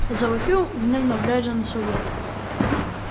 завопил гневно глядя на сову